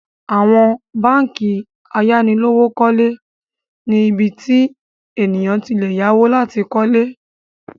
Àwọn báńkì ayánilówókọ́lé ni ibi tí ènìyàn ti le yáwó láti kọ́lé